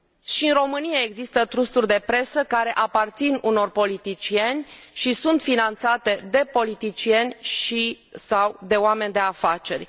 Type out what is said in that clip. Și în România există trusturi de presă care aparțin unor politicieni și sunt finanțate de politicieni și sau de oameni de afaceri.